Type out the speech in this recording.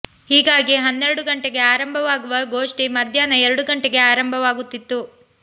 ಹೀಗಾಗಿ ಹನ್ನೆರಡು ಗಂಟೆಗೆ ಆರಂಭವಾಗುವ ಗೋಷ್ಠಿ ಮಧ್ಯಾಹ್ನ ಎರಡು ಗಂಟೆಗೆ ಆರಂಭವಾಗುತ್ತಿತ್ತು